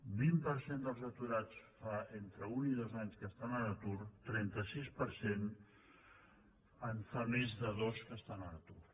un vint per cent dels aturats fa entre un i dos anys que estan a l’atur un trenta un coma sis per cent en fa més de dos que estan a l’atur